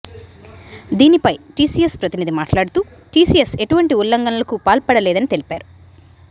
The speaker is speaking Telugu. దీనిపై టీసీఎస్ ప్రతినిధి మాట్లాడుతూ టీసీఎస్ ఎటువంటి ఉల్లంఘనలకు పాల్పడలేదని తెలిపారు